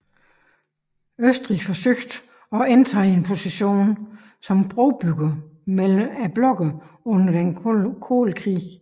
Østrig forsøgte at indtage en position som brobygger mellem blokkene under den kolde krig